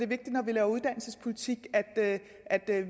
vi laver uddannelsespolitik at